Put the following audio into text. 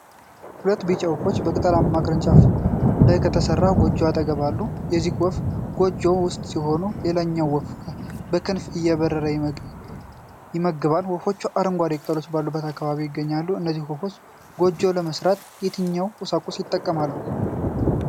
ሁለት ቢጫ ወፎች በቅጠላማ ቅርንጫፎች ላይ ከተሰራ ጎጆ አጠገብ አሉ። አንዱ ወፍ ጎጆው ውስጥ ሲሆን ሌላኛው ወፍ በክንፉ እየበረረ ይመግባል። ወፎቹ አረንጓዴ ቅጠሎች ባሉበት አካባቢ ይገኛሉ። እነዚህ ወፎች ጎጆ ለመሥራት የትኛውን ቁሳቁስ ይጠቀማሉ?